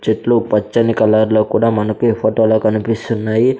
చెట్లు పచ్చని కలర్ లో కూడా మనకి ఫొటో లో కనిపిస్తున్నాయి.